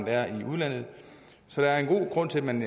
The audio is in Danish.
er i udlandet så der er en god grund til at man